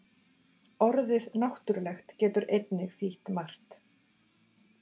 Orðið náttúrulegt getur einnig þýtt margt.